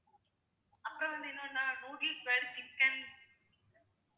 அப்புறம் வந்து என்னன்னா noodles fried chicken